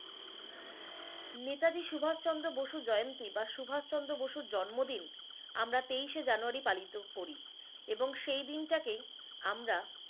নেতাজী সুভাষ চন্দ্র বসুর জয়ন্তী বা সুভাষ চন্দ্র বসুর জন্মদিন আমরা তেইশে জানুয়ারি পালিত করি এবং সেই দিনটাকে আমরা